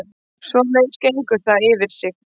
Svoleiðis gengur það fyrir sig